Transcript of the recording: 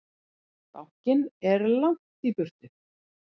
Bankinn er langt í burtu.